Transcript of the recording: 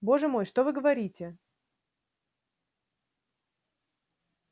боже мой что вы говорите